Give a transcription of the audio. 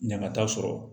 Ɲama t'a sɔrɔ